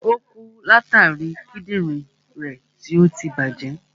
Ò kú látàri Kídìnrín rẹ̀ tí ọtí tí bàjẹ́.